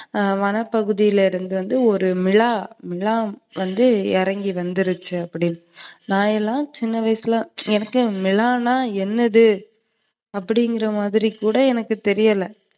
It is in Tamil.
அ வனப்பகுதியில இருந்து வந்து ஒரு மிலா, மிலா வந்து இறங்கி வந்துருச்சுனு. நான் எல்லாம் சின்ன வயசுல, எனக்கு மிலானா என்னது அப்டிங்கிறமாதிரி கூட தெரியல.